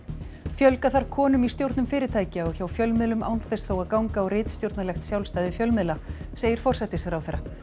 fjölga þarf konum í stjórnum fyrirtækja og hjá fjölmiðlum án þess þó að ganga á ritstjórnarlegt sjálfstæði fjölmiðla segir forsætisráðherra